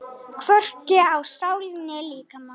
Hvorki á sál né líkama.